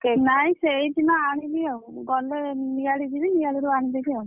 ନାଇଁ ସେଇଦିନ ଆଣିବି ଆଉ ଗଲେ ନିଆଳି ଯିବି ନିଆଳିରୁ ଆଣିଦେବି ଆଉ।